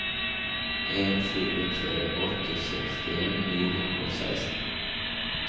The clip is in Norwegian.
en fire tre åtte sekstien ni hundre og seksten